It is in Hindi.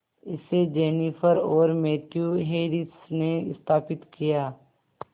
इसे जेनिफर और मैथ्यू हैरिस ने स्थापित किया